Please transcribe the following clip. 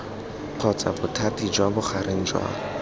kgotsa bothati jwa bogareng jwa